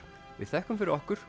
við þökkum fyrir okkur